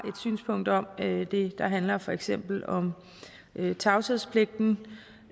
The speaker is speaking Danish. synspunkt om det det handler for eksempel om tavshedspligten